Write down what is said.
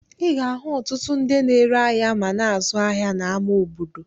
Ị ga-ahụ ọtụtụ ndị na-ere ahịa ma na-azụ ahịa n'ama obodo.